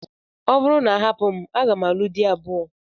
Ọ bụrụ na a hapụ m, aga m alụ di abụọ.